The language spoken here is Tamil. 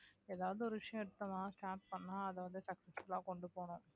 ஏதாவது ஒரு விஷயம் எடுத்தோம்னா start பண்ண அதை வந்து successful ஆ கொண்டு போகனும்